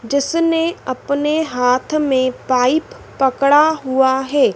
जिसने अपने हाथ में पाइप पकड़ा हुआ है।